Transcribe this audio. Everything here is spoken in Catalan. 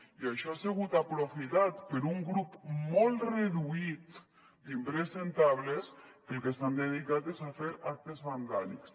i això ha sigut aprofitat per un grup molt reduït d’impresentables que al que s’han dedicat és a fer actes vandàlics